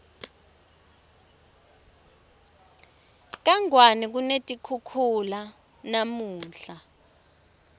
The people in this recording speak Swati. kangwane kunetikhukhula namunla